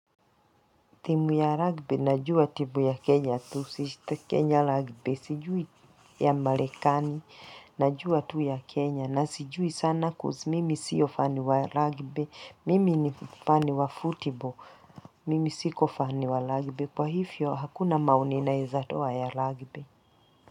Timu ya rugby najua timu ya Kenya tu, si Kenya rugby, sijui ya marekani. Na jua tu ya Kenya na sijui sana coz mimi siyo fan wa rugby, mimi ni fan wa football, mimi siko fan wa rugby, kwa hivyo hakuna maoni naweza toa ya rugby.